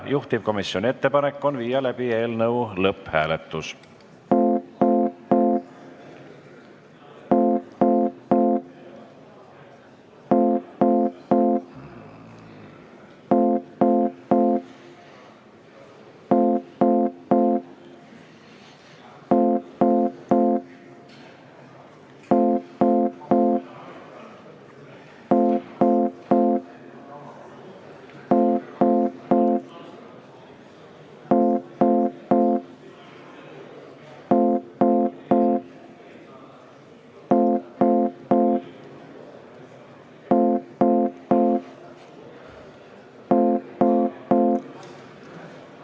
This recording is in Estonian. Juhtivkomisjoni ettepanek on viia läbi eelnõu lõpphääletus.